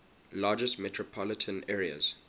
largest metropolitan areas